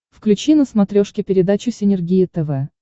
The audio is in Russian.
включи на смотрешке передачу синергия тв